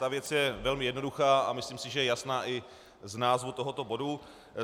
Ta věc je velmi jednoduchá a myslím si, že je jasná i z názvu tohoto bodu.